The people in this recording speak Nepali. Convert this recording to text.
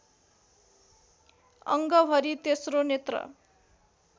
अङ्गभरि तेस्रो नेत्र